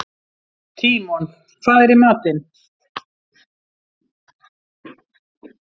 Tímon, hvað er í matinn?